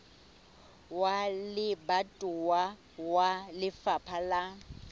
wa lebatowa wa lefapha la